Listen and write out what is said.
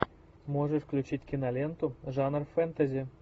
можешь включить киноленту жанр фэнтези